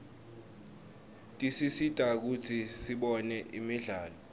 tisisita kutsi sibone imidlalo